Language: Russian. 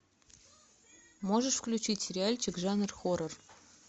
можешь включить сериальчик жанр хоррор